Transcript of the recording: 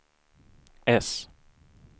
S